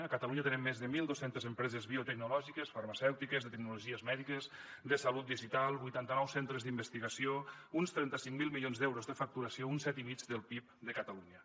a catalunya tenim més de mil dos cents empreses biotecnològiques farmacèutiques de tecnologies mèdiques de salut digital vuitanta nou centres d’investigació uns trenta cinc mil milions d’euros de facturació un set i mig del pib de catalunya